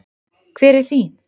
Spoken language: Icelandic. Hver er þín?